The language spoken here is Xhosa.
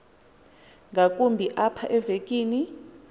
ngakumbi apha evekini